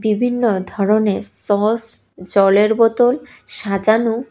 বিভিন্ন ধরনের সস জলের বোতল সাজানো।